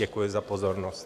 Děkuji za pozornost.